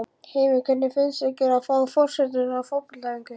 Heimir: Hvernig finnst ykkur að fá forsetann á fótboltaæfingu?